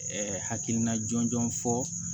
hakilina jɔnjɔn fɔ